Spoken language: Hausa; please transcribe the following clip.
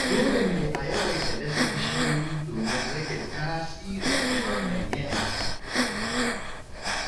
Dole ne a yawaita dasa bishiyoyi domin rage tasirin ɗumamar yanayi.